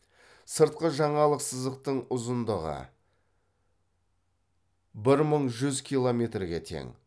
сыртқы жағалық сызықтың ұзындығы бір мың жүз километрге тең